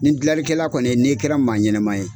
Nin dilanlikɛla kɔni yɛ n'i kɛra maa ɲɛnɛma ye